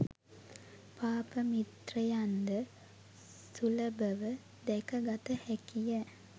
පාප මිත්‍රයන් ද සුලභව දැක ගත හැකි ය.